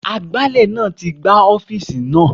Agbálẹ̀ náà ti gbá ọ́fíìsì náà.